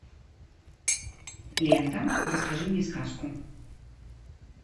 лента расскажи мне сказку